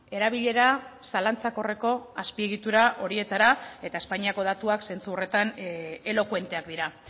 erabilera zalantzakorreko azpiegitura horietara eta espainiako datuak zentzu horretan elokuenteak dira